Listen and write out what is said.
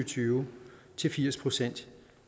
tyve til firs procent